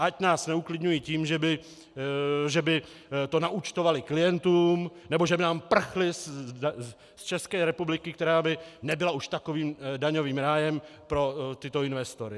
Ať nás neuklidňují tím, že by to naúčtovaly klientům nebo že by nám prchly z České republiky, která by nebyla už takovým daňovým rájem pro tyto investory.